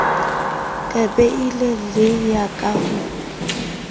ka beile le ya ho